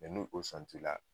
Mɛ ni o sɔn ti la